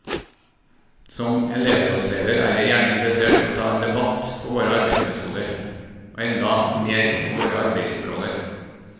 Som elevrådsleder er jeg gjerne interessert i å ta en debatt på våre arbeidsmetoder, og enda mer våre arbeidsområder.